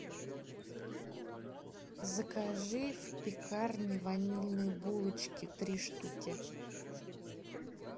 закажи в пекарне ванильные булочки три штуки